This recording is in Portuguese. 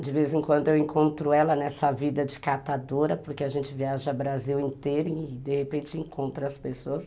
De vez em quando eu encontro ela nessa vida de catadora, porque a gente viaja Brasil inteiro e de repente encontra as pessoas.